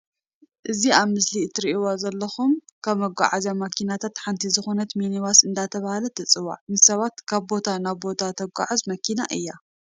እዚ ኣብ ምስሊ እትርኢዎ ዘለኩም ካብ መጓዓዝያ መኪናታት ሓንቲ ዝኮነት ሚኒባስ እንዳተባሃለት ትፅዋዕ ንሰባት ካብ ቦታ ናይ ቦታ ተጓዓዕዝ መኪና እያ።